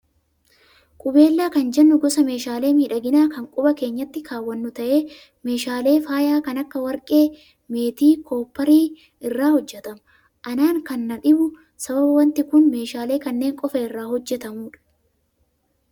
Qubeellaa kan jennu gosa meeshaalee miidhaginaa kan quba keenyatti kaawwannu ta'ee, meeshaalee faayaa kan akka warqee, meetii fi koopparii irraa hojjatama. Anaan kan na dhibu sababa wanti kun meeshaalee kanneen qofaa irraa hojjatamudha.